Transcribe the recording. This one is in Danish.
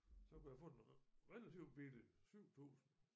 Så kunne jeg få den relativt billigt 7000